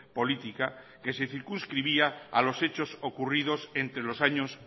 política que se circunscribía a los hechos ocurridos entre los años